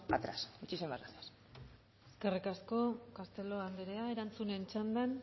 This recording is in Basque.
atrás muchísimas gracias eskerrik asko castelo anderea erantzunen txandan